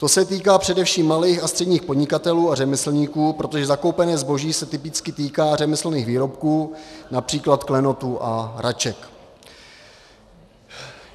To se týká především malých a středních podnikatelů a řemeslníků, protože zakoupené zboží se typicky týká řemeslných výrobků, například klenotů a hraček.